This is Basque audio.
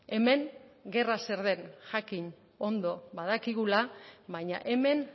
hemen gerra zer den jakin ondo badakigula baina hemen